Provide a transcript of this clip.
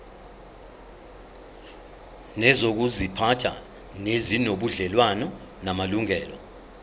nezokuziphatha ezinobudlelwano namalungelo